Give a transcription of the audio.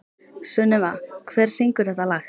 Sunneva, hver syngur þetta lag?